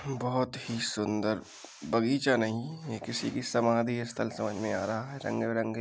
बहोत ही सुंदर बगीचा नहीं ये किसी की समाधी स्थल समझ में आ रहा है। रंग-बिरंगे --